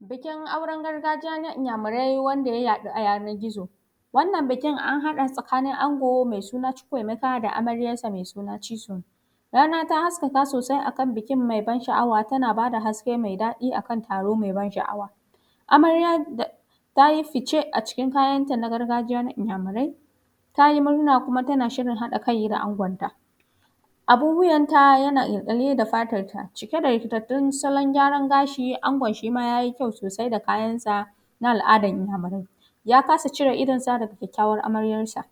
bikin auran gargajiya na inyamurai wanda ya yadu a yanar gizo wannan bikin an hada tsakani ango mai suna chuku emeika da amaryansa mai suna chisu rana ta haskaka sosai akan bikin mai ban sha'awa tana bada haske me dadi akan taro mai ban sha'awa amarya da tayi ficce acikin kayan ta na gargajiya na inyamurai tayi murna kuma tana shirin hada kai da angonta abun wiyanta tana kyalkyalli da fatar ta cike da rikitattun salon gyaran gashi angon shima yayi kyau sosai da kayan sa na al'adar iyamurai ya kasa cire idonsa daga kyakkawan amaryasa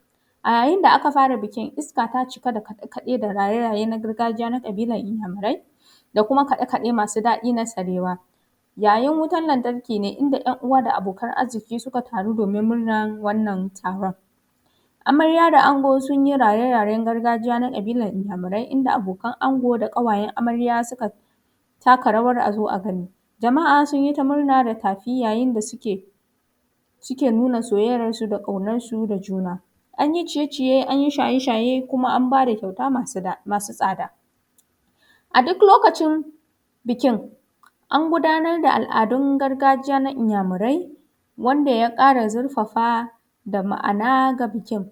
a yayin da aka fara bikin iska ta cike da kade-kade da raye-raye na gargajiya na kabilan iyamurai da kuma kade-kade masu dadi na sarewa yayin wutan lantarki ne inda yan uwa da abokan arzuki suka taru do:min murnan wannan taron amarya da ango sunyi raye-rayen gargajiya na kabilan iyamurai inda abokan ango da kawayan amarya suka ta taka rawan azo a gani jama'a sunyi ta murna da tafi yayin da suke suke nuna soyayyansu da kaunan su da juna anyi ciye-ciye da shaye-shaye kuma: an bada kyauta masu tsada a duk lokacin bikin an gudanar da al'adun gargajiya na iyamurai wanda ya kara zurfafa da ma'ana ga bikin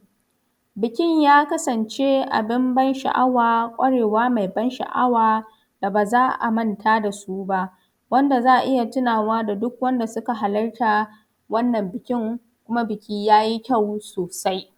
bikin ya kasance abin ban sha'awa kwarewa mai ban sha'awa da baza a manta da suba wanda za a iya tunawa da duk wanda suka halatta wannan bikin kuma biki yayi kyau sosai